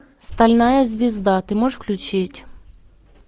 стальная звезда ты можешь включить